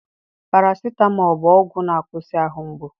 Paracetamol bu ọgwụ na akwusi ahụ mgbu